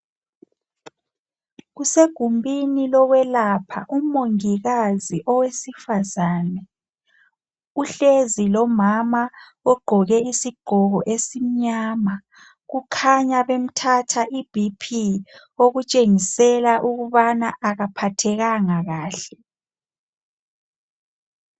Kusegumbini lokwelapha umongikazi owesifazana uhlezi lomama ogqoke isigqoko esimnyama kukhanya bemthatha iBP okutshengisela ukubana akaphathekanga kahle.